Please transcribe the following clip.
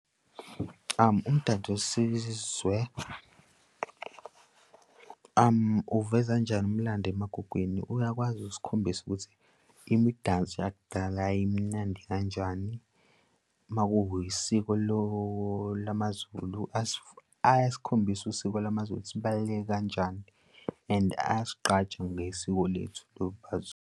Umdanso wesizwe uveza kanjani umlando emagugwini? Uyakwazi ukusikhombisa ukuthi imidanso yakudala yayimnandi kanjani, uma kuyisiko lamaZulu ayasikhombisa usiko lamaZulu ukuthi libaluleke kanjani and ayasigqaja ngesiko lethu .